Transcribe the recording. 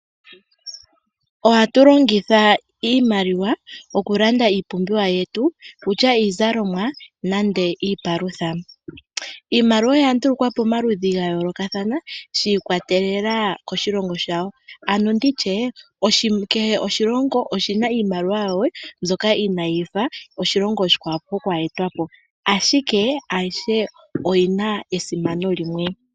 Ohatu longitha iimaliwa okulanda iipumbiwa yetu, okutya iizalomwa nande iipalutha. Iimaliwa oya ndulukwa pomaludhi ga yoolokathana, shi ikwatelela koshilongo shayo, ano nditye, kehe oshilongo oshina iimaliwa yawo mbyoka inayi fa oshilongo oshikwawo pokwa etwapo. Ashike ayihe oyina esimano limwe.